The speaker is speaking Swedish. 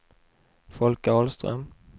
Folke Ahlström